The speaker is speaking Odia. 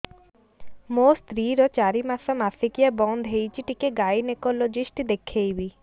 ମୋ ସ୍ତ୍ରୀ ର ଚାରି ମାସ ମାସିକିଆ ବନ୍ଦ ହେଇଛି ଟିକେ ଗାଇନେକୋଲୋଜିଷ୍ଟ ଦେଖେଇବି